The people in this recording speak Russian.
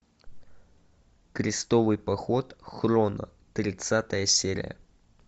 крестовый поход хроно тридцатая серия